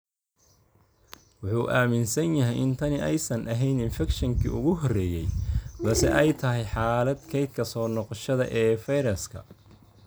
Wuxuu aaminsan yahay in tani aysan ahayn infekshankii ugu horreeyay, balse ay tahay xaalad "kaydka soo noqoshada" ee fayraska.